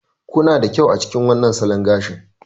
Kuna da kyau a cikin wannan salon gashi.